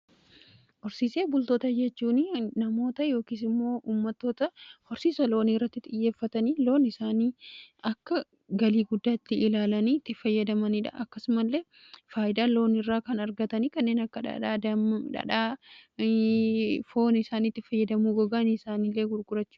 Horsiisee bultoota jechuun namoota yookiisimmoo ummatoota horsiisa loonii irratti xiyyeeffatanii loon isaanii akka galii guddaatti ilaalanii itti fayyadamaniidha. Akkasumallee faayidaa loon irraa kan argatanii kenneen akka dhadhaa, foon isaaniitti fayyadamuu, gogaani isaaniilee gurgurachu.